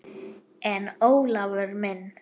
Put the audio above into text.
En Ólafur minn.